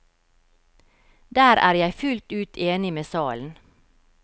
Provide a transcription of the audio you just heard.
Der er jeg fullt ut enig med salen.